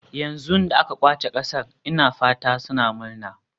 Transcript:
Yanzu da aka ƙwace ƙasar ina fata suna murna.